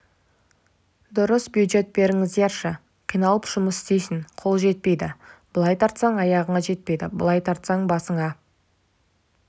дұрыс бюджет беріңіздерші қиналып жұмыс істейсің қол жетпейді былай тартсаң аяғыңа жетпейді былай тартсаң басыңа